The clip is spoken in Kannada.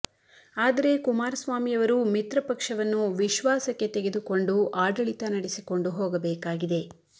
ಆದರೆ ಕುಮಾರಸ್ವಾಮಿಯವರು ಮಿತ್ರ ಪಕ್ಷವನ್ನು ವಿಶ್ವಾಸಕ್ಕೆ ತೆಗೆದುಕೊಂಡು ಆಡಳಿತ ನಡೆಸಿಕೊಂಡು ಹೋಗಬೇಕಾಗಿದೆ